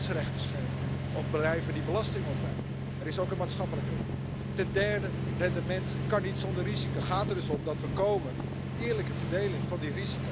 Y eso requiere tomarse en serio el establecimiento de estándares mínimos de cobertura y procedimientos eficientes de relación entre los sistemas de los diferentes Estados miembros.